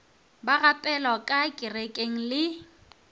ba gapelwa ka kerekeng le